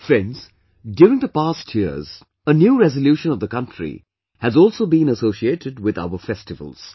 Friends, during the past years, a new resolution of the country has also been associated with our festivals